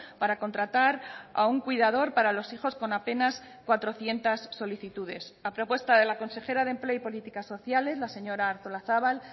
para contratar a un cuidador para los hijos con apenas cuatrocientos solicitudes a propuesta de la consejera de empleo y políticas sociales la señora artolazabal